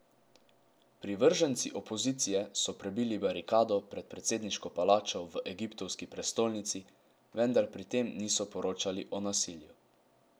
Privrženci opozicije so prebili barikado pred predsedniško palačo v egiptovski prestolnici, vendar pri tem niso poročali o nasilju.